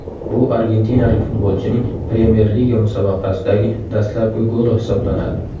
Bu argentinalik futbolchining Premyer liga musobaqasidagi dastlabki goli hisoblanadi.